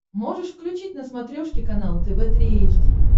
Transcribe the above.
можешь включить на смотрешке канал тв три эйч ди